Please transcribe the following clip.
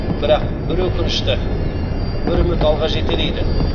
бірақ бір өкінішті бір үміт алға жетелейді